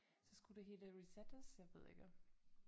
Så skulle det hele resettes jeg ved ikke